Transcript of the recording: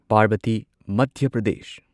Parbati Madhya Pradesh